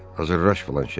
Hazırlaş filan şeyə.